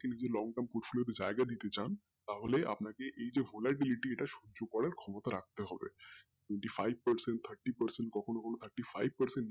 কিন্তু যদি long term push দিতে চান তাহলে আপনাকে এই যে polarbility এই যে এটাকে সহ্য করার ক্ষমতা রাখতে হবে twenty five percent, thirty percent কখনো কখনো thirty five percent